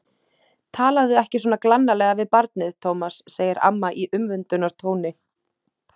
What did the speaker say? Talaðu ekki svona glannalega við barnið, Tómas, segir amma í umvöndunartóni.